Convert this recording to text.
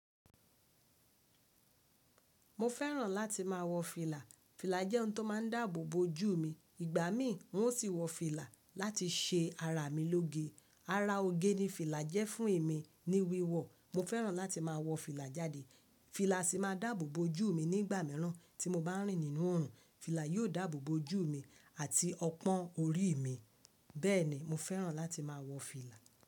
Mo fẹ́ràn láti má a wọ fìlà. Fìlà jẹ́ ohun tó máa ń dáàbò bo ojú mi. Ìgbà mí, n ó sì wọ fìlà láti ṣe ara mi lóge. Ara oge ni fìlà jẹ́ fún èmi ní wíwọ̀. Mo fẹ́ràn láti má a wọ fìlà jáde. Fìlà sì máa dáàbò bo ojú mi nígbà mìíràn tí mo bá rìn nínú oòrùn. Fìlà yóò dáàbò bo ojú mi àti ọpọ́n orí mi. Bẹ́ẹ̀ ni, mo fẹ́ràn láti má a wọ fìlà.